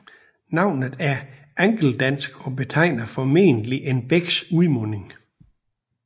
Navnet er angeldansk og betegner formodentlig en bæks udmunding